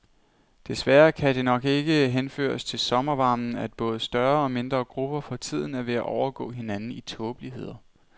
Desværre kan det nok ikke henføres til sommervarmen, at både større og mindre grupper for tiden er ved at overgå hinanden i tåbeligheder.